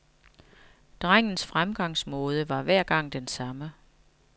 Drengens fremgangsmåde var hver gang den samme.